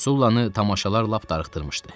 Sullanı tamaşalar lap darıxdırmışdı.